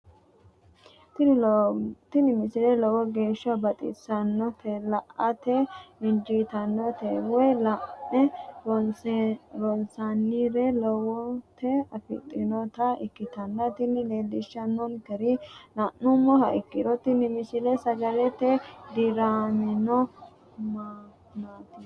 tini misile lowo geeshsha baxissannote la"ate injiitanno woy la'ne ronsannire lowote afidhinota ikkitanna tini leellishshannonkeri la'nummoha ikkiro tini misile sagalete diramino mannaati.